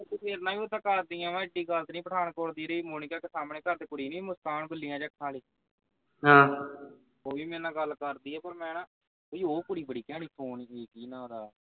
ਉੱਦਾਂ ਕਰਦੀਆਂ ਵਾਂ ਇੱਡੀ ਗੱਲ ਨਹੀਂ ਪਠਾਨਕੋਟ ਦੀ ਜਿਹੜੀ ਮੋਨੀਕਾ ਸਾਹਮਣੇ ਘਰ ਦੇ ਕੁੜੀ ਨੀ ਮੁਸਕਾਨ ਬਿੱਲੀਆਂ ਜੇ ਅੱਖਾਂ ਵਾਲੀ ਉਹ ਵੀ ਮੇਰੇ ਨਾਲ ਗੱਲ ਕਰਦੀ ਪਰ ਮੈਂ ਨਾ ਬਈ ਉਹ ਕੁੜੀ ਘੈਂਟ ਈ ਸੋਹਣੀ ਜੀ ਕੀ ਨਾਂ ਓਹਦਾ